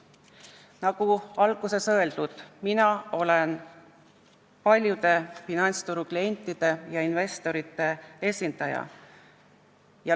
Nagu alguses öeldud, mina olen paljude finantsturu klientide ja investorite esindaja.